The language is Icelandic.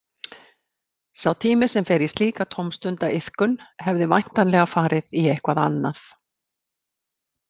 Sá tími sem fer í slíka tómstundaiðkun hefði væntanlega farið í eitthvað annað.